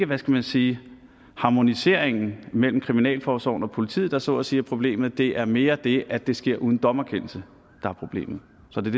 hvad skal man sige harmoniseringen mellem kriminalforsorgen og politiet der så at sige er problemet det er mere det at det sker uden dommerkendelse der er problemet så det